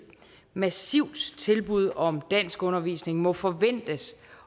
massivt tilbud om danskundervisning må forventes